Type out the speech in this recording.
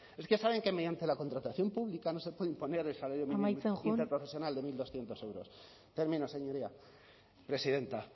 es que saben que mediante la contratación pública no se puede imponer el salario mínimo interprofesional de mil doscientos euros amaitzen joan termino señoría presidenta